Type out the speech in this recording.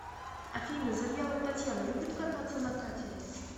афина завьялова татьяна любит кататься на катере